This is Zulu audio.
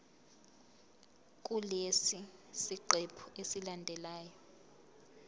kulesi siqephu esilandelayo